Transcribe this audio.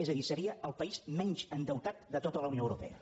és a dir seria el país menys endeutat de tota la unió europea